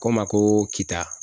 Ko n ma ko kita.